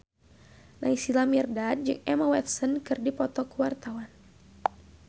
Naysila Mirdad jeung Emma Watson keur dipoto ku wartawan